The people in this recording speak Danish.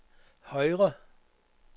højre